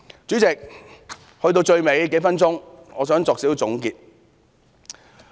主席，到最後數分鐘，我想作少許總結。